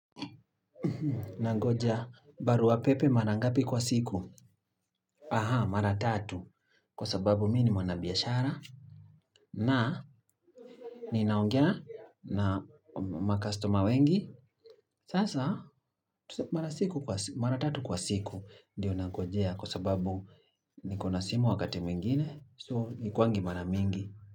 Unangoja barua pepe mara ngapi kwa siku? Aha, mara tatu. Kwa sababu mimi ni mwanabiashara na, ninaongea na makastoma wengi. Sasa, mara tatu kwa siku ndiyo nangojea kwa sababu nikona simu wakati mwingine. So, haikiangi mara mingi.